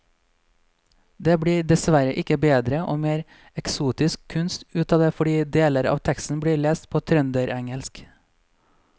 Det blir dessverre ikke bedre og mer eksotisk kunst ut av det fordi deler av teksten blir lest på trønderengelsk.